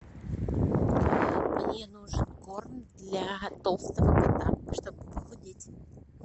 мне нужен корм для толстого кота чтобы похудеть